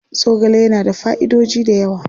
Zogale yana da fa'idoji da yawa.